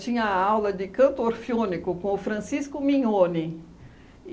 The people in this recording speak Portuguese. Tinha aula de canto orfeônico com o Francisco Mignone.